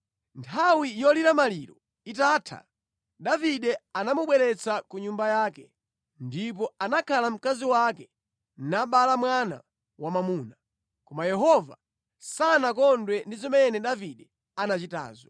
Nthawi yolira maliro itatha, Davide anamubweretsa ku nyumba yake, ndipo anakhala mkazi wake nabala mwana wamwamuna. Koma Yehova sanakondwe ndi zimene Davide anachitazo.